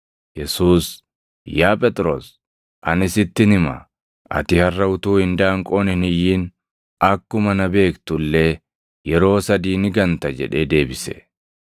Yesuus, “Yaa Phexros, ani sittin hima; ati harʼa utuu indaanqoon hin iyyin akkuma na beektu illee yeroo sadii ni ganta” jedhee deebise.